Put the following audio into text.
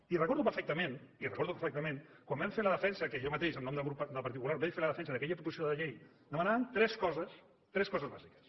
i recordo perfectament i recordo perfectament quan vam fer la defensa que jo mateix en nom del grup del partit popular vaig fer la defensa d’aquella proposició de llei que demanàvem tres coses tres coses bàsiques